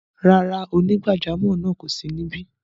Rárá, onígbàjàmọ́ náà kò sí níbí.